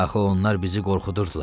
Axı onlar bizi qorxudurdular.